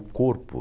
O corpo.